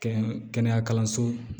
Kɛɲɛ kɛnɛya kalanso